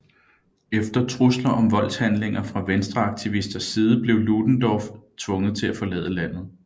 Efter trusler om voldshandlinger fra venstreaktivisters side blev Ludendorff tvunget til at forlade landet